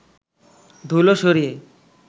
ধুলো সরিয়ে